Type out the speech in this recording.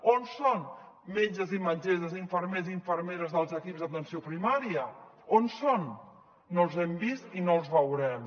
on són metges i metgesses infermers i infermeres dels equips d’atenció primària on són no els hem vist i no els veurem